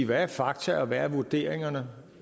hvad er fakta og hvad er vurderingerne